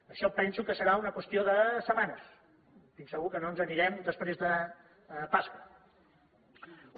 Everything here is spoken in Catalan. això penso que serà una qüestió de setmanes estic segur que no ens anirem després de pasqua